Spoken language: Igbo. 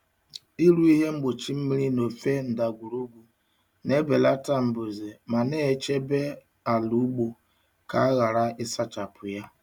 Ịrụ ihe mgbochi mmiri n'ofe ndagwurugwu na-ebelata mbuze ma na-echebe ala ugbo ka a ghara ịsachapụ ya.